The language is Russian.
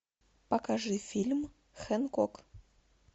покажи фильм хенкок